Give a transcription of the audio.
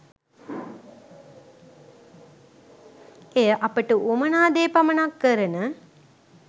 එය අපට වුවමනා දේ පමණක් කරන